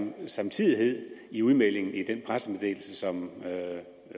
en samtidighed i udmeldingen i den pressemeddelelse som